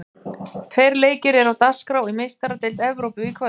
Tveir leikir eru á dagskrá í Meistaradeild Evrópu í kvöld.